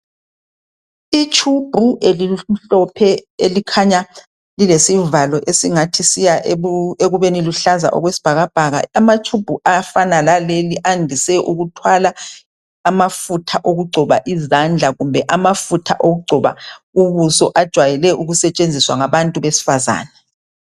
Ithumbu elimhlophe elikhanya lilesivalo esingathi siya ekubeni luhlaza okwesibhakabhaka, amathumbu afana laleli andise ukuthwala amafutha okugcoba izandla kumbe amafutha okugcoba ubuso ajayele ukusetshenziswa ngabantu abesifazana.